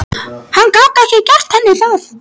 Hann gat ekki gert henni það.